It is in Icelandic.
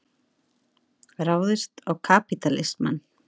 Ráðist á kapítalismann.